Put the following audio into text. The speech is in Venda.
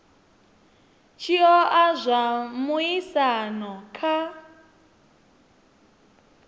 tshi oa zwa muaisano kha